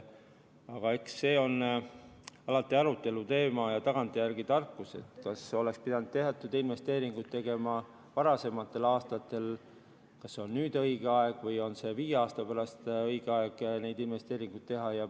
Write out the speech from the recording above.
Aga eks see on alati aruteluteema ja tagantjärele tarkus, kas oleks pidanud teatud investeeringuid tegema varasematel aastatel, kas nüüd on õige aeg või on viie aasta pärast õige aeg neid investeeringuid teha.